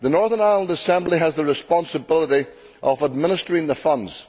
The Northern Ireland Assembly has the responsibility of administering the funds.